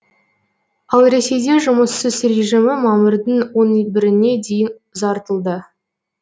ал ресейде жұмыссыз режимі мамырдың он біріне дейін ұзартылды